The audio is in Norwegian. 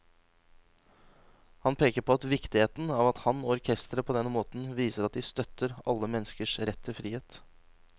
Han peker på viktigheten av at han og orkesteret på denne måten viser at de støtter alle menneskers rett til frihet.